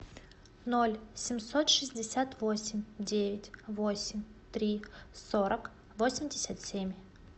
ноль семьсот шестьдесят восемь девять восемь три сорок восемьдесят семь